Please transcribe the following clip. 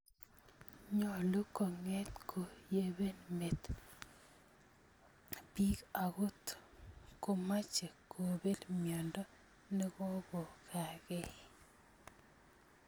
Nyolu kong�et ko yibe met biik ankot komaache kobeel myondo nekokokakee